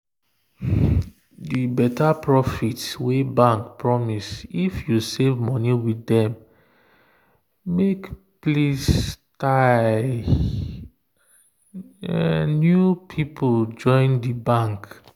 the better profit wey bank promise if you save money with dem make pls ty new people join the bank.